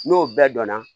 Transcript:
N'o bɛɛ dɔnna